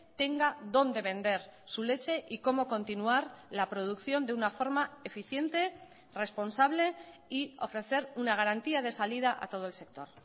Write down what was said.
tenga dónde vender su leche y como continuar la producción de una forma eficiente responsable y ofrecer una garantía de salida a todo el sector